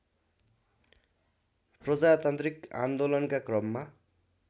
प्रजातान्त्रिक आन्दोलनका क्रममा